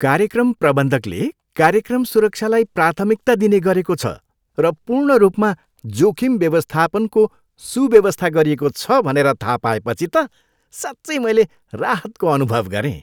कार्यक्रम प्रबन्धकले कार्यक्रम सुरक्षालाई प्राथमिकता दिने गरेको छ र पूर्ण रूपमा जोखिम व्यवस्थापनको सुव्यवस्था गरिएको छ भनेर थाहा पाएपछि त साँच्चै मैले राहतको अनुभव गरेँ।